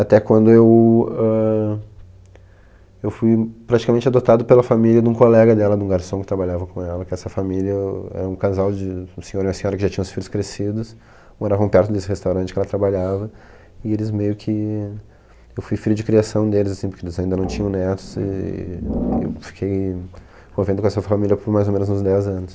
Até quando eu, ãh, eu fui praticamente adotado pela família de um colega dela, de um garçom que trabalhava com ela, que essa família era um casal de um senhor e uma senhora que já tinham os filhos crescidos, moravam perto desse restaurante que ela trabalhava, e eles meio que... eu fui filho de criação deles, porque eles ainda não tinham netos, e eu fiquei convendo com essa família por mais ou menos uns dez anos.